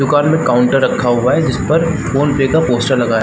दुकान में काउंटर रखा हुआ है जिस पर फ़ोन पे का पोस्टर लगा है।